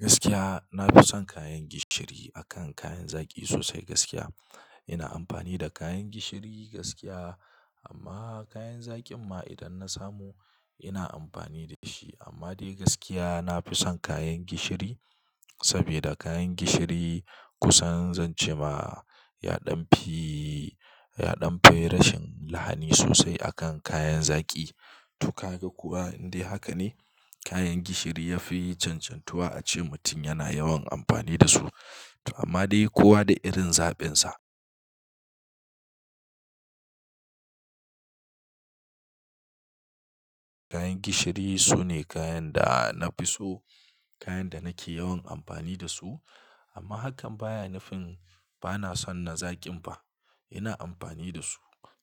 Gaskiya na fi son kayan gishiri akan kayan zaƙi sosai gaskiya. Ina amfani da kayan gishiri gaskiya amma kayan zaƙin ma idan na samu ina amfani da shi. Amma dai gaskiya na fi son kayan gishiri saboda kayan gishiri kusan zan ce ma ya ɗan fi, ya ɗan fi rashin lahani sosai akan kayan zaƙi. To ka ga kuwa dai haka ne kayan gishiri ya fi cancantuwa a ce mutum yana yawan amfani da su. Amma dai kowa da irin zaɓinsa. Kayan gishiri sune kayan da na fi so, kayan da nake yawan amfani da su. Amma hakan baya nafi-- bana son na zaƙin ba. Ina amfani da su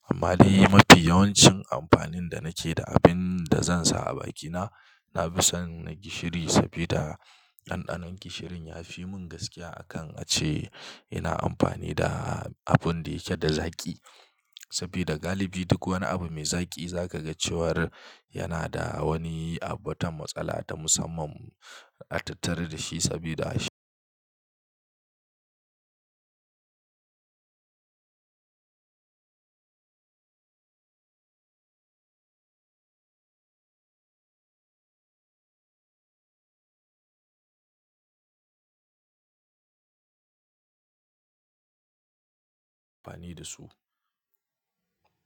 amma dai mafi yawancin amfanin da nake da abin da zan sa a bakina, na fi son na gishiri saboda ɗanɗanon gishirin ya fi mun gaskiya akan a ce ina amfani da abun da yake da zaƙi. Saboda galibi duk wani abu mai zaƙi zaka ga cewar yana da wani abota matsala ta musamman a tattari da shi saboda shi. Bani da su.